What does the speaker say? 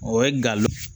O ye galon